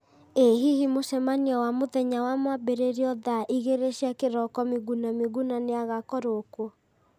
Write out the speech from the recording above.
ĩ hihi mũcemanio wa mũthenya wa mwambĩrĩrio thaa igĩrĩ cia kĩroko miguna miguna nĩ agakorwo kuo